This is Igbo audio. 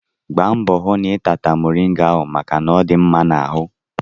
Gbaa mbọ hụ na ị tata moriga ahụ maka na ọ dị mma n'ahụ!